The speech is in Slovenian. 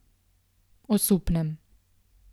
Osupnem.